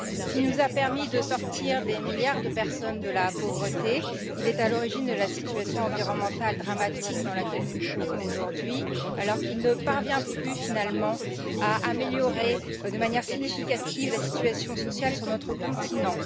S'il nous a permis de sortir des milliards de personnes de la pauvreté, il est aussi à l'origine de la situation environnementale dramatique dans laquelle nous nous trouvons aujourd'hui, alors qu'il ne parvient plus à améliorer de manière significative la situation sociale sur notre continent.